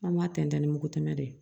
An b'a tɛntɛn ni mugu tɛmɛ de ye